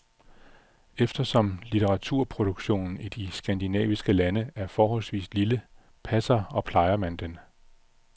Eftersom litteraturproduktionen i de skandinaviske lande er forholdsvis lille, passer og plejer man den.